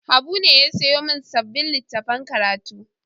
Habu ne ya sayo min sabon littafin karatu.